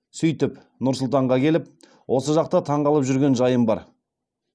сөйтіп нұр сұлтанға келіп осы жақта таңғалып жүрген жайым бар